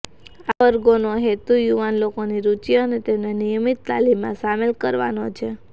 આવા વર્ગોનો હેતુ યુવાન લોકોની રુચિ અને તેમને નિયમિત તાલીમમાં સામેલ કરવાનો છે